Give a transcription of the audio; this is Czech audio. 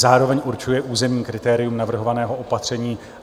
Zároveň určuje územní kritérium navrhovaného opatření.